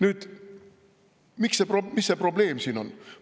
Nüüd, mis see probleem siin on?